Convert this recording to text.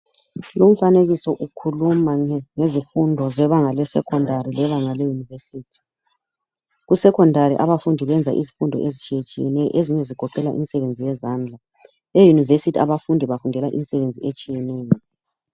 Lumfanekiso ukhuluma ngezifundo zebanga lesecondary lebanga leyunivesithi. Kusecondary abafundi bafunda izifundo ezitshiyetshiyeneyo ezinye zigoqela imisebenzi yezandla eyunivesithi abantu bafundela imisebenzi etshiyeneyo.